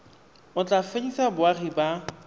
o tla fedisa boagi ba